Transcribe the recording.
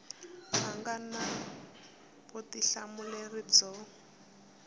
a nga na vutihlamuleri byo